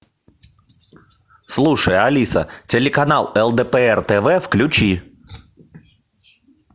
слушай алиса телеканал лдпр тв включи